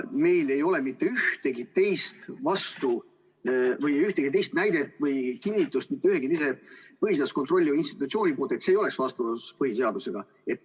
Meil ei ole ühtegi kinnitust mitte ühegi põhiseadust kontrolliva institutsiooni poolt, et see ei oleks vastuolus põhiseadusega.